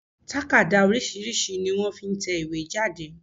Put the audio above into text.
Tákàdá oríṣìíríṣìí ni wọ́n fi n tẹ ìwé jáde